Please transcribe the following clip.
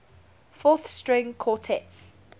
fourth string quartets